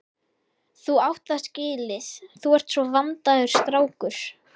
Þú átt það skilið, þú ert svo vandaður strákur.